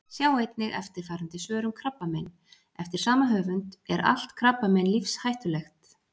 Sjá einnig eftirfarandi svör um krabbamein: Eftir sama höfund: Er allt krabbamein lífshættulegt?